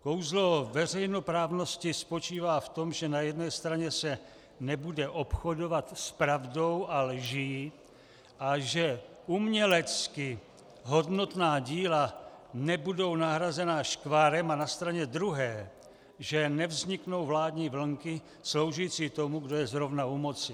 Kouzlo veřejnoprávnosti spočívá v tom, že na jedné straně se nebude obchodovat s pravdou a lží a že umělecky hodnotná díla nebudou nahrazena škvárem, a na straně druhé že nevzniknou vládní vlnky sloužící tomu, kdo je zrovna u moci.